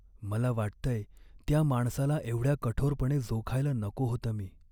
मला वाटतंय त्या माणसाला एवढ्या कठोरपणे जोखायला नको होतं मी.